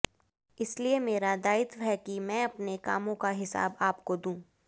इसलिए मेरा दायित्व है कि मैं अपने कामों का हिसाब आपको दूं